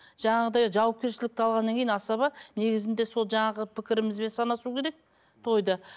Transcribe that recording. жаңағыдай жауапкершілікті алғаннан кейін асаба негізінде сол жаңағы пікірімізбен санасу керек тойды